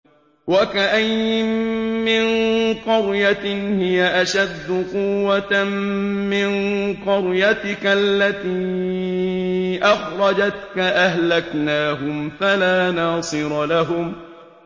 وَكَأَيِّن مِّن قَرْيَةٍ هِيَ أَشَدُّ قُوَّةً مِّن قَرْيَتِكَ الَّتِي أَخْرَجَتْكَ أَهْلَكْنَاهُمْ فَلَا نَاصِرَ لَهُمْ